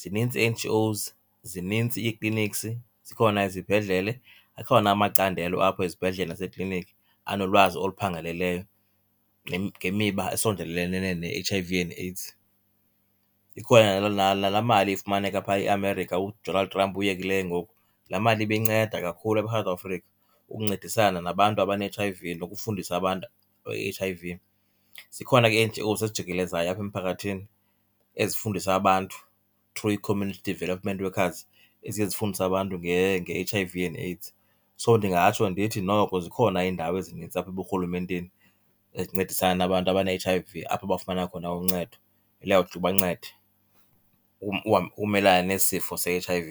Zinintsi ii-N_G_Os, zinintsi ii-clinics, zikhona izibhedlele, akhona amacandelo apho ezibhedlele nasekliniki anolwazi oluphangaleleyo ngemiba esondelenene ne-H_I_V and AIDS. Ikhona nalaa mali ifumaneka phaa eAmerika uDonald Trump uyekile ngoku, laa mali ibinceda kakhulu apha eSouth Afrika ukuncedisana nabantu abane-H_I_V nokufundisa abantu nge-H_I_V. Zikhona ke ii-N_G_Os ezijikelezayo apha emphakathini ezifundisa abantu through ii-community development workers eziye zifundise abantu nge-H_I_V and AIDS. So ndingatsho ndithi noko zikhona iindawo ezinintsi apha eburhulumenteni ezincedisana nabantu abane-H_I_V, apho bafumana khona uncedo eliyawuthi libancede umelana nesi sifo se-H_I_V.